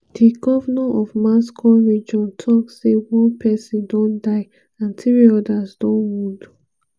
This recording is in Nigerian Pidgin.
di govnor of moscow region tok say one pesin don die and three odas don wound.